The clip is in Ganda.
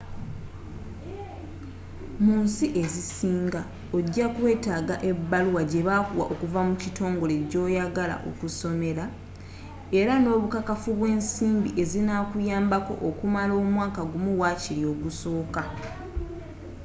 munsi ezisinga ogyakwetaaga ebaluwa gyebakuwa okuva mu kitongole gyoyagala okusomera era n'obukakafu bw'ensimbi ezinakuyambako okumala omwaka gumu wakiri ogusooka